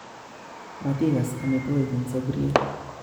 Matikas omitwo'kik eng sabur'yet